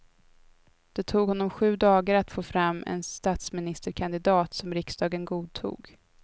Det tog honom sju dagar att få fram en statsministerkandidat som riksdagen godtog.